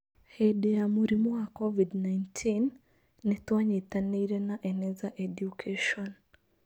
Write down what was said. Hĩndĩ ya mũrimũ wa COVID-19, nĩ twanyitanĩire na Eneza Education.